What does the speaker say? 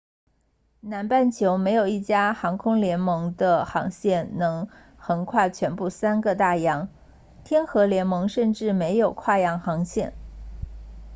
南半球没有一家航空联盟的航线能横跨全部三个大洋天合联盟甚至没有跨洋航线